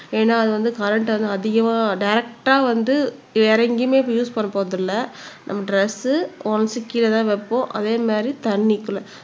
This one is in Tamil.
ஏன்னா அது வந்து கரண்ட் வந்து அதிகமா டிரெக்டா வந்து வேற எங்கயுமே இப்ப யூஸ் பண்ண போறது இல்லை நம்ம டிரஸ் ஒன்ஸ்க்கு கீழேதான் வைப்போம் அதே மாதிரி தண்ணிக்குள்ள